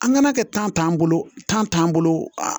An ŋana kɛ t'an bolo t'an bolo